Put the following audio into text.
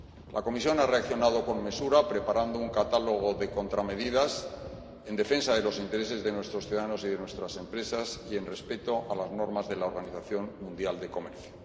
La Comisión ha reaccionado con mesura, preparando un catálogo de contramedidas en defensa de los intereses de nuestros ciudadanos y de nuestras empresas y acordes con las normas de la Organización Mundial del Comercio.